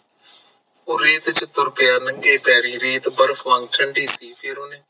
ਉਹ ਰੇਤ ਤੇ ਤੁਰ ਪਿਆ ਨੰਗੇ ਪੈਰੀ, ਰੇਤ ਬਰਫ ਵਾਂਗ ਠੰਡੀ ਸੀ ਫੇਰ ਓਹਨੇ